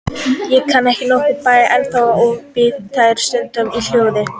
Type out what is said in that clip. Ég kann nokkrar bænir ennþá og bið þær stundum í hljóði.